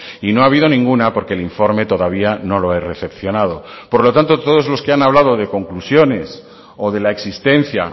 y no ha habido ninguna porque el informe todavía no lo he recepcionado por lo tanto todos los que han hablado de conclusiones o de la existencia